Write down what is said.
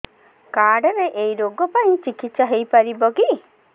card ରେ ଏଇ ରୋଗ ପାଇଁ ଚିକିତ୍ସା ହେଇପାରିବ କି